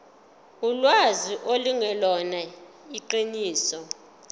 ulwazi lungelona iqiniso